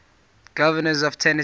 governors of tennessee